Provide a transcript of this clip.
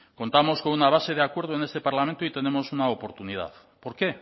contamos con una base de acuerdo en este parlamento y tenemos una oportunidad por qué